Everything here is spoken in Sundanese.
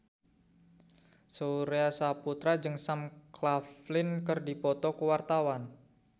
Surya Saputra jeung Sam Claflin keur dipoto ku wartawan